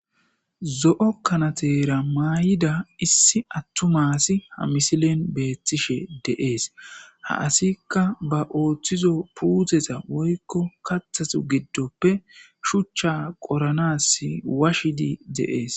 zo'o kanateera maay'ida issi attuma asi ha misilen beettishe de'ees ha asikka ba ooththizo puuteza woykko kaththazu giddoppe shuchcha qoranas washshidi de'ees